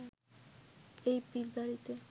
এই পীরবাড়িতে